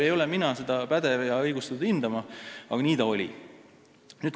Ei ole mina pädev ega õigustatud seda hindama, aga nii ta oli.